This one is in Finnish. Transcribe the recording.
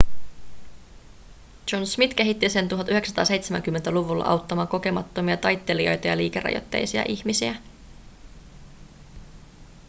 john smith kehitti sen 1970-luvulla auttamaan kokemattomia taittelijoita ja liikerajoitteisia ihmisiä